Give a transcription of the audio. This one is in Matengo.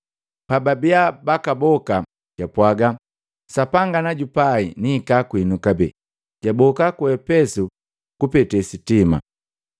Pababiya bakaboka, japwaga, “Sapanga najupai nihika kwinu kabee.” Jaboka ku Epesu kupete sitima.